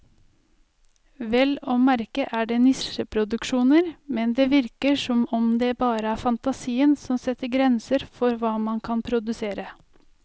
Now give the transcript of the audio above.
Vel å merke er det nisjeproduksjoner, men det virker som om det bare er fantasien som setter grenser for hva man kan produsere.